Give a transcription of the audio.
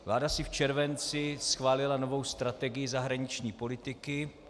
Vláda si v červenci schválila novou strategii zahraniční politiky.